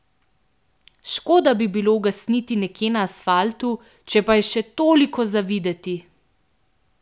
Škoda bi bilo ugasniti nekje na asfaltu, če pa je še toliko za videti!